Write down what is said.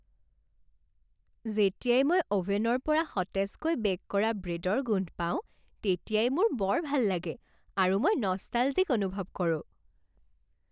যেতিয়াই মই অ'ভেনৰ পৰা সতেজকৈ বে'ক কৰা ব্ৰেডৰ গোন্ধ পাওঁ তেতিয়াই মোৰ বৰ ভাল লাগে আৰু মই নষ্টালজিক অনুভৱ কৰোঁ।